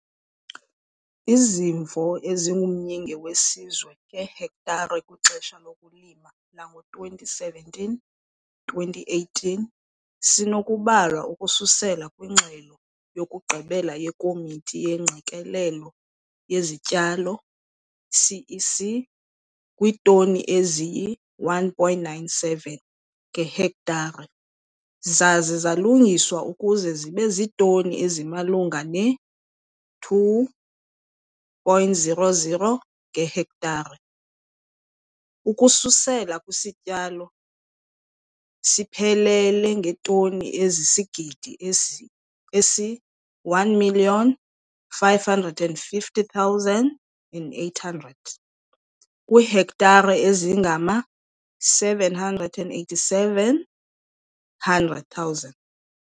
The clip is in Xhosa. Izimvo esingumyinge weSizwe ngehektare kwixesha lokulima lango-2017-2018 sinokubalwa ukususela kwingxelo yokugqibela yeKomiti yeeNgqikelelo zeziTyalo, CEC, kwiitoni eziyi-1,97 ngehektare, zaze zalungiswa ukuze zibe ziitoni ezimalunga ne-2,00 ngehektare, ukususela kwisityalo siphelele seetoni ezisisigidi esi-1 550 800 kwiihektare ezingama-787,000.